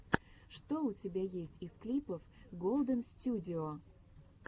что у тебя есть из клипов голдэнстюдио